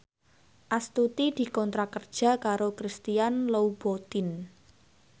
Astuti dikontrak kerja karo Christian Louboutin